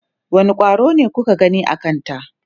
wani ƙwaro ne kuka gani a Kanta?